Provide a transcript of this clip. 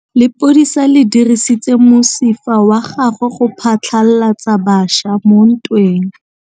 Lepodisa le dirisitse mosifa wa gagwe go phatlalatsa batšha mo ntweng.